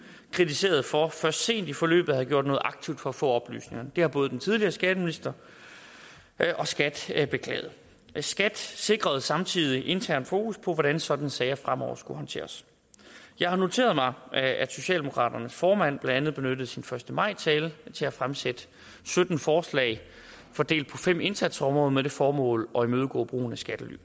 kritiseret for først sent i forløbet at have gjort noget aktivt for at få oplysningerne det har både den tidligere skatteminister og skat skat beklaget skat sikrede samtidig internt fokus på hvordan sådanne sager fremover skulle håndteres jeg har noteret mig at socialdemokraternes formand blandt andet benyttede sin første maj tale til at fremsætte sytten forslag fordelt på fem indsatsområder med det formål at imødegå brugen af skattely